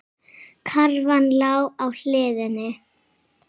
Karfan lá á hliðinni.